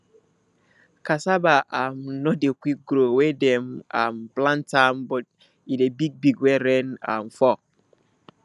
cassava um no dey quick grow wen dem um plant am but e dey big big when rain um fall